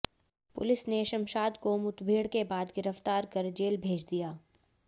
police ने शमशाद को मुठभेड़ के बाद गिरफ्तार कर जेल भेज दिया